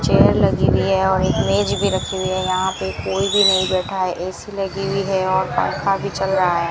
Chair लगी हुई है और एक मेज भी रखी हुई हैं यहां पे कोई भी नहीं बैठा है ए_सी लगी हुई है और पंखा भी चल रहा है।